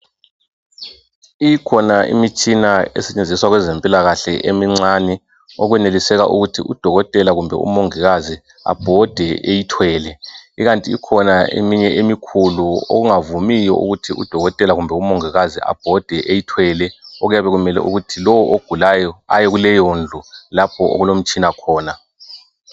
Ikhona imitshina esetshenziswa kweze mpilakahle emincani okweneliseka ukuthi udokotela kumbe umongikazi abhode eyithwele ikanti ikhona eminye emikhulu okungavumiyo ukuthi udokotela kumbe umongikazi abhode eyithwele okuyabe kumele ukuthi lowo ogulayo aye kuleyondlu lapho okulomtshina khona